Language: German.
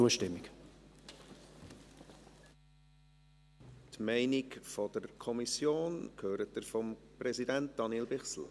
Die Meinung der Kommission hören Sie vom Präsidenten, Daniel Bichsel.